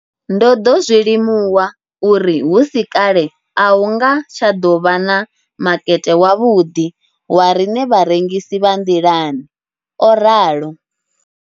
Ndo ḓo zwi limuwa uri hu si kale a hu nga tsha ḓo vha na makete wavhuḓi wa riṋe vharengisi vha nḓilani, o ralo.